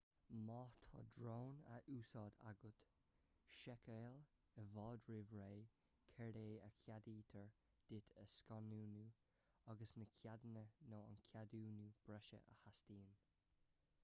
má tá drón á úsáid agat seiceáil i bhfad roimh ré céard é a cheadaítear duit a scannánú agus na ceadanna nó an ceadúnú breise a theastaíonn